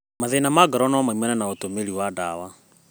Mathĩĩna ma ngoro no maumane na ũtũmĩri wa ndawa.